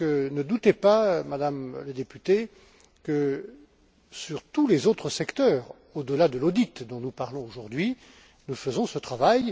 Ne doutez pas, Madame la députée, que pour tous les autres secteurs, au delà de l'audit dont nous parlons aujourd'hui, nous faisons ce travail.